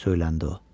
söyləndi o.